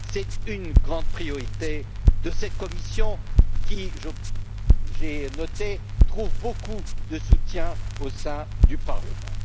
C'est une grande priorité de cette Commission qui, j'ai noté, trouve beaucoup de soutien au sein du Parlement.